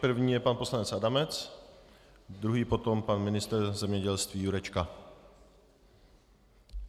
První je pan poslanec Adamec, druhý potom pan ministr zemědělství Jurečka.